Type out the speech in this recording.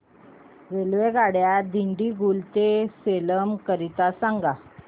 रेल्वेगाड्या दिंडीगुल ते सेलम करीता सांगा